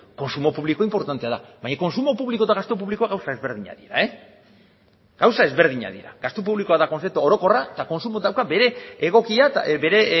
kontsumo publikoa inportantea da baina kontsumo publikoa eta gastu publikoa gauza ezberdinak dira gauza ezberdinak dira gastu publikoa da kontzeptu orokorra eta kontsumoak dauka bere